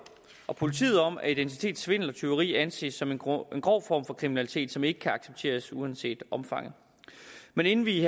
og politiet om at identitetssvindel og tyveri anses som en grov grov form for kriminalitet som ikke kan accepteres uanset omfanget men inden vi